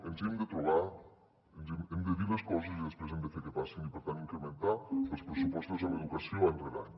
ens hi hem de trobar hem de dir les coses i després hem de fer que passin i per tant incrementar els pressupostos en educació any rere any